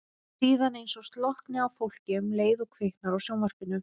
Síðan eins og slokkni á fólki um leið og kviknar á sjónvarpinu.